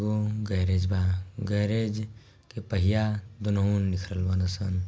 ओम garage बा garage के पहिया दोन्हो में बाड़न सन |